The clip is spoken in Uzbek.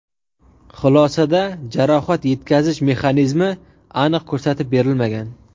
Xulosada jarohat yetkazish mexanizmi aniq ko‘rsatib berilmagan.